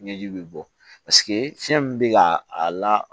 Ɲɛji bɛ bɔ paseke fiɲɛ min bɛ ka a la